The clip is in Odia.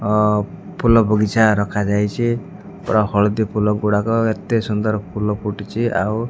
ଅ ଫୁଲ ବଗିଚା ରଖାଯାଇଛି ପୂରା ହଳଦି ଫୁଲ ଗୁଡାକ ଏତେ ସୁନ୍ଦର ଫୁଲ ଫୁଟିଛି ଆଉ --